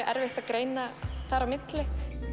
erfitt að greina þar á milli